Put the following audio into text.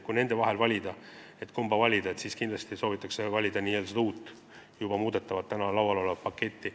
Kui nende vahel on vaja valida, siis kindlasti soovitakse seda uut, täna laual olevat muudatuste paketti.